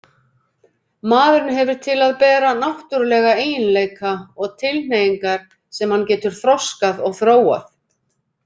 Maðurinn hefur til að bera náttúrulega eiginleika og tilhneigingar sem hann getur þroskað og þróað.